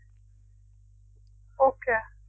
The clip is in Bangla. okay